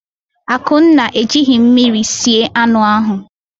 Akunna ejighị mmiri sie anụ ahụ.